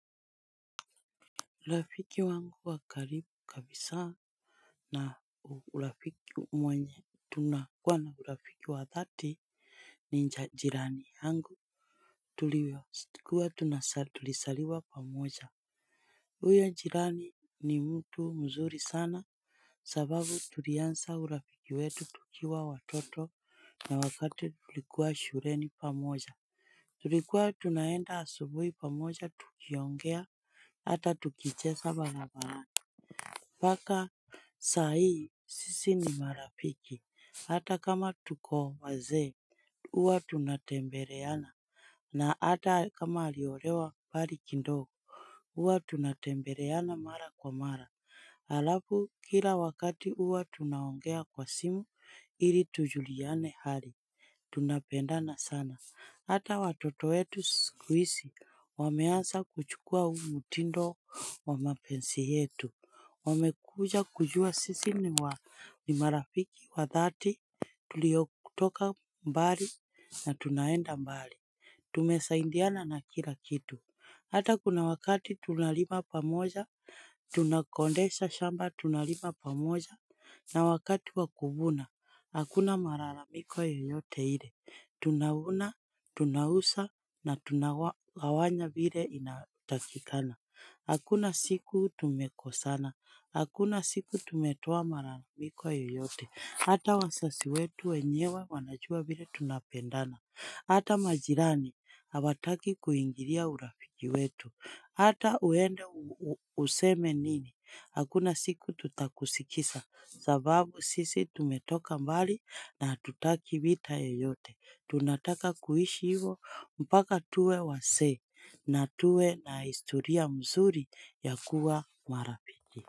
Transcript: Urafiki wangu wa karibu kabisa na urafiki mwenye tunakuwa na urafiki wa dhati ni jirani yangu tulisaliwa pamoja, huyo jirani ni mtu mzuri sana sababu tulianza urafiki wetu tukiwa watoto na wakati tulikuwa shuleni pamoja Tulikuwa tunaenda asubuhi pamoja tukiongea hata tukicheza barabarani mpaka saa hii, sisi ni marafiki Hata kama tuko wazee, huwa tunatembeleana, na hata kama aliolewa mbali kidogo huwa tunatembeleana mara kwa mara Halafu kila wakati huwa tunaongea kwa simu ili tujuliane hali Tunapendana sana, hata watoto wetu siku hizi wameanza kuchukua huu mtindo wa mapenzi yetu Wamekuja kujua sisi ni marafiki wa dhati tuliotoka mbali na tunaenda mbali Tumesaidiana na kila kitu, hata kuna wakati tunalima pamoja, tunakodesha shamba, tunalima pamoja na wakati wakuvuna. Hakuna malalamiko yoyote ile, tunavuna, tunauza na tunagawanya vile inatakikana Hakuna siku tumekosana, hakuna siku tumetoa malalamiko yoyote, hata wazazi wetu wenyewe wanajua vile tunapendana Hata majirani, hawataki kuingilia urafiki wetu, hata uende useme nini, hakuna siku tutakusikiza sababu sisi tumetoka mbali na hatutaki vita yoyote, tunataka kuishi hivyo mpaka tuwe wazee na tuwe na historia mzuri ya kuwa marafiki.